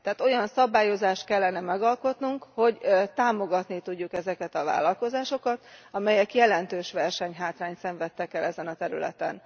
Tehát olyan szabályozást kellene megalkotnunk, hogy támogatni tudjuk ezeket a vállalkozásokat, amelyek jelentős versenyhátrányt szenvedtek el ezen a területen.